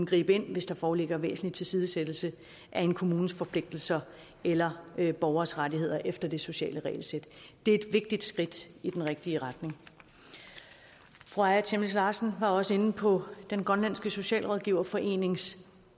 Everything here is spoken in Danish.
gribe ind hvis der foreligger væsentlig tilsidesættelse af en kommunes forpligtelser eller af en borgers rettigheder efter det sociale regelsæt det er et vigtigt skridt i den rigtige retning fru aaja chemnitz larsen var også inde på den grønlandske socialrådgiverforenings